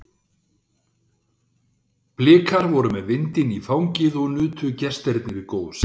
Blikar voru með vindinn í fangið og nutu gestirnir góðs af því.